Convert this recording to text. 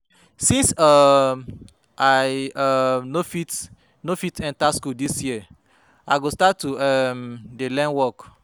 Since um I um no fit no fit enter school dis year I go start to um dey learn work